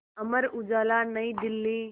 Amar Ujala Nai Delhi